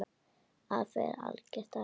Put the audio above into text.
Afi er algert æði.